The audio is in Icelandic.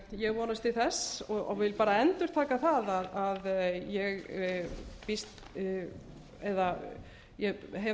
ég vonast til þess og vil endurtaka að ég hef